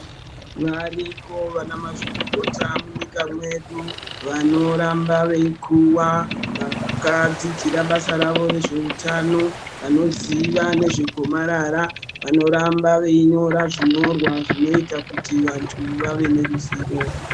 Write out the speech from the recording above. Varikobvana mazvikokota munyika medu vanoramba veipuwa vakadzidzira bassa rawo rezvehutano vanoziva nezvegomarara vanoramba zvinyorwa zvinoita kuti vantu vave neruzivo.